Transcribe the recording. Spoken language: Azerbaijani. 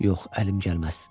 Yox, əlim gəlməz.